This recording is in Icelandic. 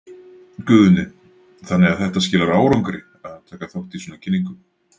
Guðni: Þannig að þetta skilar árangri að taka þátt í svona kynningu?